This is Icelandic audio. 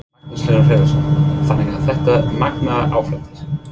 Magnús Hlynur Hreiðarsson: Þannig að þetta er magnaður afréttur?